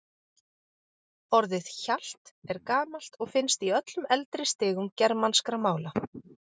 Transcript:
Orðið hjalt er gamalt og finnst í öllum eldri stigum germanskra mála.